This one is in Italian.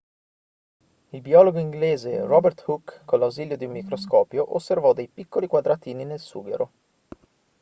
il biologo inglese robert hooke con l'ausilio di un microscopio osservò dei piccoli quadratini nel sughero